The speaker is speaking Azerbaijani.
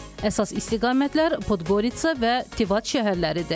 Əsas istiqamətlər Podgoritsa və Tivat şəhərləridir.